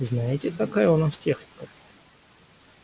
знаете какая у нас техника